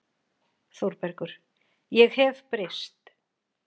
ÞÓRBERGUR: Ég hef breyst.